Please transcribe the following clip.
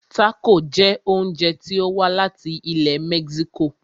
Tácò jẹ oúnjẹ tí o wá láti ilẹ̀ mexico.